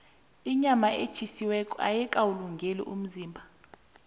inyama etjhisiweko ayikalungeli umzimba